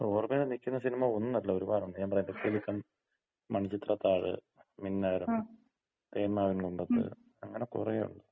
ഓർമയില് നിക്കുന്ന സിനിമ ഒന്നല്ല ഒര്പാടുണ്ട്. ഞാന് പറഞ്ഞില്ലേ കിലുക്കം, മണിച്ചിത്രത്താഴ്, മിന്നാരം, തേന്മാവിൻകൊമ്പത്ത് അങ്ങന കൊറെ ഒണ്ട്.